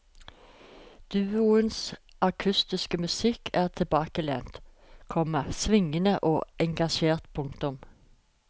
Duoens akustiske musikk er tilbakelent, komma svingende og engasjert. punktum